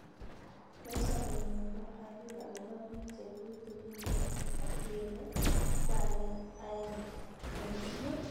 "Eng sobet nyun kiarir agobo biik chetutugin nea ak Diego ko aenge eng' ichek."